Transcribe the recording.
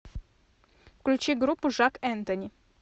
включи группу жак энтони